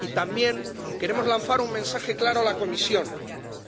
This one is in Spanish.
Y también queremos lanzar un mensaje claro a la Comisión